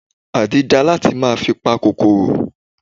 Àdí dáa láti máa fi pa kòkòrò.